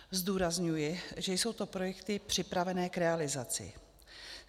Zdůrazňuji, že jsou to projekty připravené k realizaci.